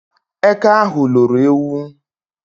Eke ahụ loro ewu